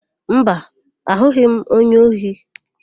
Mba, ahụghị m onye ohi.